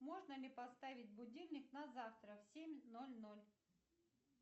можно ли поставить будильник на завтра в семь ноль ноль